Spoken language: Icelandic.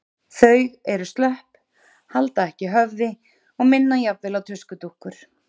Þau eru slöpp, halda ekki höfði og minna jafnvel á tuskudúkkur.